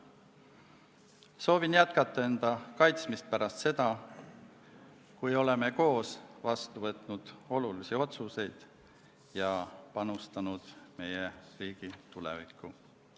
Soovin jätkata enda kaitsmist pärast seda, kui oleme koos vastu võtnud olulisi otsuseid ja panustanud meie riigi tulevikku.